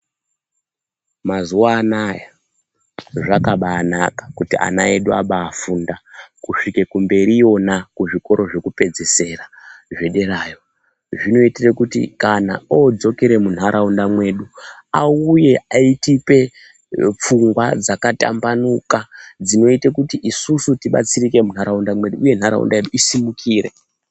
Mazuwa anaya ,zvakabaanaka kuti ana edu abaafunda kusvike kumberiyona kuzvikoro zvekupedzisira, zvederayo. Zvinoitire kuti kana odzokere munharaunda mwedu ,auye eitipe pfungwa dzakatambanuka, dzinoite kuti isusu tibatsirike munharaunda mwedu uye nharaunda yedu isimukire.